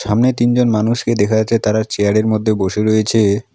সামনে তিনজন মানুষকে দেখা যাচ্ছে তারা চেয়ারের মধ্যে বসে রয়েছে।